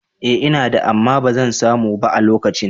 Ee ina da, amma ba zan samu ba a lokacin.